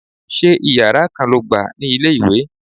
Ṣé Ìyàrá kan lo gbà ní ilé-ìwé?